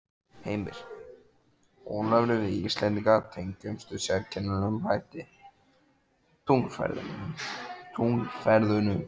Heimir: Ólafur við Íslendingar tengjumst með sérkennilegum hætti tunglferðunum?